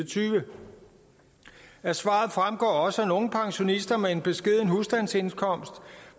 tyve af svaret fremgår også at nogle pensionister med en beskeden husstandsindkomst